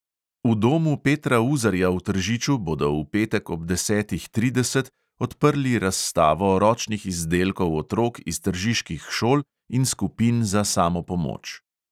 V domu petra uzarja v tržiču bodo v petek ob desetih trideset odprli razstavo ročnih izdelkov otrok iz tržiških šol in skupin za samopomoč.